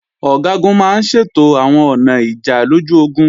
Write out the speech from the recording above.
Ọ̀gágun máa ń ṣètò àwọn ọ̀nà ìjà lójú ogun